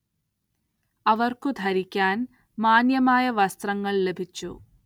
അവർക്കു ധരിക്കാൻ മാന്യമായ വസ്ത്രങ്ങൾ ലഭിച്ചു.